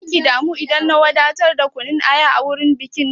Zaki damu idan na wadatar da kunun aya a wurin bikin ki?